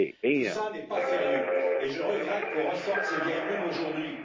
Tout cela n'est pas sérieux et je regrette qu'on ressorte ces vieilles lunes aujourd'hui.